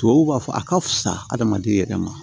Tubabuw b'a fɔ a ka fusa hade yɛrɛ ma